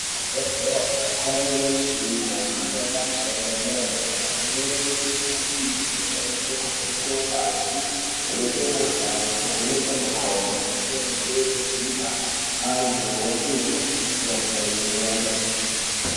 Kuzvibhedhlera kwane michina yemhando yepamusoro yedera dera imweni yemishina iyi inoshandiswe kuvheneka ngazi, kuvheneke mikhuhlani, kuvheneke makodo ngemirenje inodzimba antu opihwe mitombo inoenderana nawo.